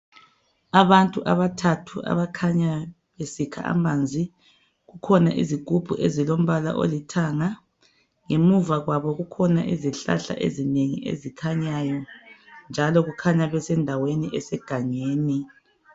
Abantu abathathu abakhanya besikha amanzi, zikhona izigubhu ezilombala olithanga , ngemuva kwabo kukhona izihlahla ezikhanyayo njalo kukhanya besendaweni esegangeni .